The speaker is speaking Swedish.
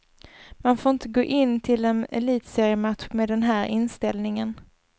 Man får inte gå in till en elitseriematch med den här inställningen.